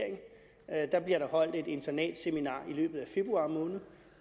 at der bliver holdt et internatseminar i løbet af februar måned